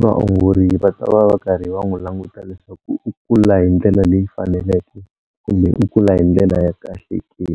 vaongori va ta va va karhi va n'wu languta leswaku u kula hi ndlela leyi faneleke kumbe u kula hi ndlela ya kahle ke.